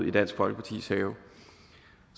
i dansk folkepartis have